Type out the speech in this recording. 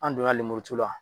An don na lemuru tu la